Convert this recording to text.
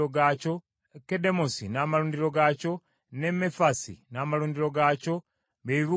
Kedemosi n’amalundiro gaakyo, ne Mefaasi n’amalundiro gaakyo bye bibuga bina.